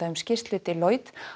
um skýrslu Deloitte